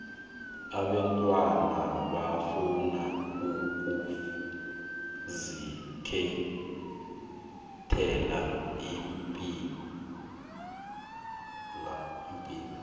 abentwana bafuna ukuzikhethela iimpahla